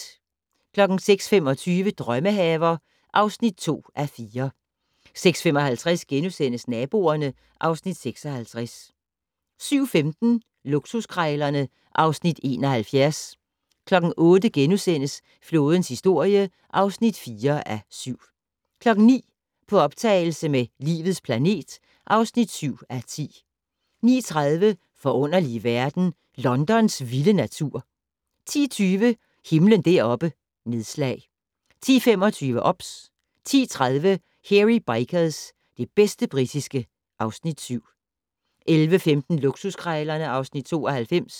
06:25: Drømmehaver (2:4) 06:55: Naboerne (Afs. 56)* 07:15: Luksuskrejlerne (Afs. 71) 08:00: Flådens historie (4:7)* 09:00: På optagelse med "Livets planet" (7:10) 09:30: Forunderlige verden - Londons vilde natur 10:20: Himlen deroppe: Nedslag 10:25: OBS 10:30: Hairy Bikers - det bedste britiske (Afs. 7) 11:15: Luksuskrejlerne (Afs. 92)